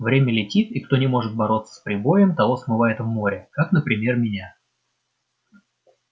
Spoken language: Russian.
время летит и кто не может бороться с прибоем того смывает в море как например меня